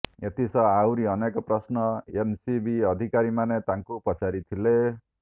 ଏଥିସହ ଆହୁରି ଅନେକ ପ୍ରଶ୍ନ ଏନସିବି ଅଧିକାରୀମାନେ ତାଙ୍କୁ ପଚାରି ଥିଲେ